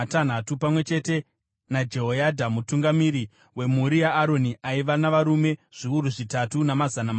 pamwe chete naJehoyadha, mutungamiri wemhuri yaAroni aiva navarume zviuru zvitatu namazana manomwe,